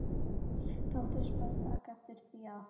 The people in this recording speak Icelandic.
Þóttust menn taka eftir því, að